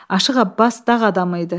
Aşıq Abbas dağ adamı idi.